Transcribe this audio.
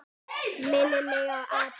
Minnir mig á apa.